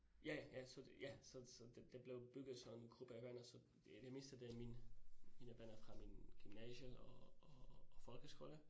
Ja ja ja, så ja så så det det blev bygget sådan gruppe venner, så det meste af det mine, mine venner fra min gymnasie og og folkeskole